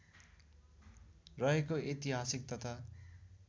रहेको ऐतिहासिक तथा